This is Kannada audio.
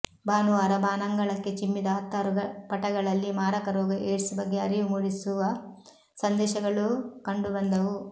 ಭಾನುವಾರ ಬಾನಂಗಳಕ್ಕೆ ಚಿಮ್ಮಿದ ಹತ್ತಾರು ಪಟಗಳಲ್ಲಿ ಮಾರಕ ರೋಗ ಏಡ್ಸ್ ಬಗ್ಗೆ ಅರಿವು ಮೂಡಿಸುವ ಸಂದೇಶಗಳೂ ಕಂಡು ಬಂದವು